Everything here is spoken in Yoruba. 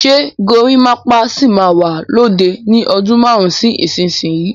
Ṣé gorimapa sì máa wà lóde ni ọdún márùn-ún sí ìsinsìnyí?